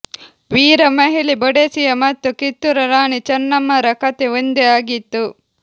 ವೀರಮಹಿಳೆ Boadicea ಮತ್ತು ಕಿತ್ತೂರ ರಾಣಿ ಚನ್ನಮ್ಮರ ಕಥೆ ಒಂದೇ ಆಗಿತ್ತು